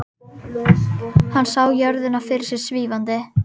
Hann sá jörðina fyrir sér svífandi.